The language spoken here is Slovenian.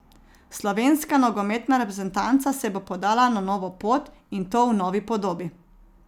Slovenska nogometna reprezentanca se bo podala na novo pot, in to v novi podobi.